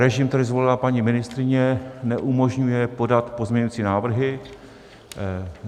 Režim, který zvolila paní ministryně, neumožňuje podat pozměňovací návrhy.